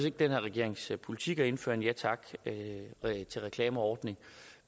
ikke den her regerings politik at indføre en ja tak til reklamer ordning